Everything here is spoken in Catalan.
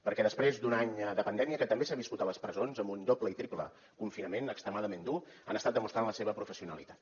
perquè després d’un any de pandèmia que també s’ha viscut a les presons amb un doble i triple confinament extremadament dur han estat demostrant la seva professionalitat